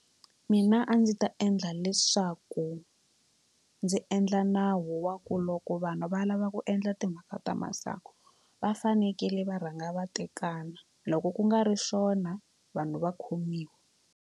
Mina a ndzi ta endla leswaku ndzi endla nawu wa ku loko vanhu va lava ku endla timhaka ta masangu va fanekele va rhanga va tekana loko ku nga ri swona vanhu va khomiwa.